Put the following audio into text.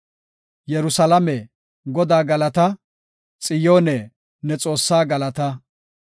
Yerusalaame, Godaa galata! Xiyoone, ne Xoossaa galata!